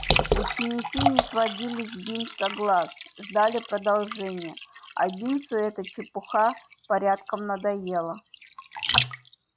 ученики не сводили с бинса глаз ждали продолжения а бинсу эта чепуха порядком надоела